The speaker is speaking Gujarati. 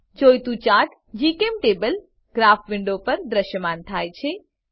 જોઈતું ચાર્ટ જીચેમ્ટેબલ ગ્રાફ વિન્ડો પર દ્રશ્યમાન થાય છે